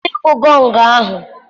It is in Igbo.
kwụsị ịkụ gọngụ ahụ!